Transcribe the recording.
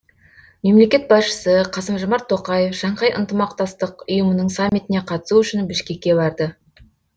мемлекет басшысы қасым жомарт тоқаев шанхай ынтымақтастық ұйымының саммитіне қатысу үшін бішкекке барды